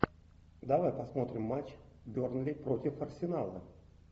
давай посмотрим матч бернли против арсенала